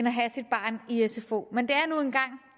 i at sfo men